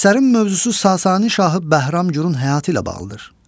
Əsərin mövzusu Sasani şahı Bəhram Gurun həyatı ilə bağlıdır.